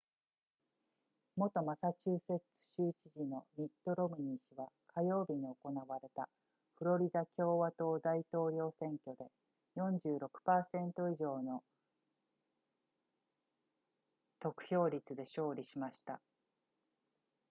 元マサチューセッツ州知事のミットロムニー氏は火曜日に行われたフロリダ共和党大統領選挙で 46% 以上の得票率で勝利しました